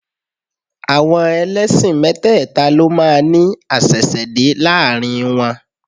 Àwọn ẹlẹ́sìn mẹ́tẹ́ẹ̀ta ló máa ní àṣẹ̀ṣẹ̀dé láàrin wọn